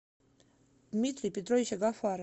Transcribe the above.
дмитрий петрович агафаров